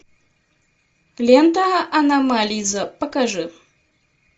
лента аномализа покажи